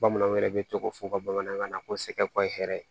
Bamananw yɛrɛ bɛ tɔgɔ fɔ u ka bamanankan na ko sɛgɛ ko hɛrɛ